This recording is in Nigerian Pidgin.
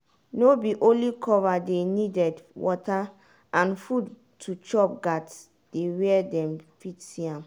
no be only cover dey needed water and food to chop gats dey where dem fit see am